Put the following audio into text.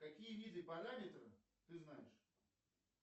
какие виды параметра ты знаешь